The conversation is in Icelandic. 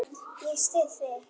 Ég styð þig.